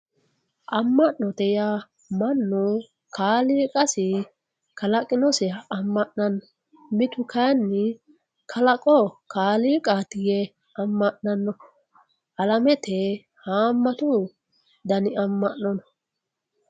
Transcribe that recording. amma'note yaa mannu kaaliqasi kalaqinosiha amma'nanno mitu kayinni kalaqo kaliiqaati yee amma'nanno alamete haammatu dani amma'no no